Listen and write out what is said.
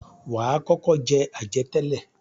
Wà á kọ́kọ́ jẹ àjẹtẹ́lẹ̀.